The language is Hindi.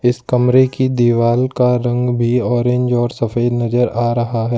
कमरे की दीवाल का रंग भी ऑरेंज और सफेद नजर आ रहा है।